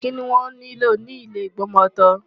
Kí ni wọ́n nílò ni ile Ìgbọmọtọ́?